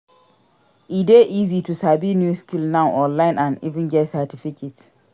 E de easy to sabi new skill now online and even get certificate